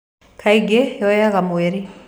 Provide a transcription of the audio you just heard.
Kaingĩ, Yoyaga mweri.